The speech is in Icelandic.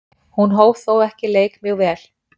Hún hóf þó ekki leik mjög vel.